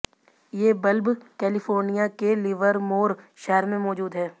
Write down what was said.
ये bulb California के Livermore शहर में मौजूद है